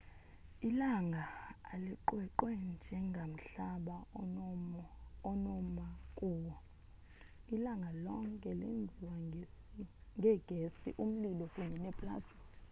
ilanga alinaqweqwe njengomhlaba onoma kuwo ilanga lonke lenziwe ngeegesi umlilo kunye neplasma